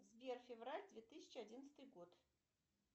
сбер февраль две тысячи одиннадцатый год